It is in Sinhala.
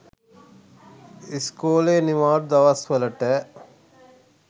ඉස්කෝලේ නිවාඩු දවස්වලට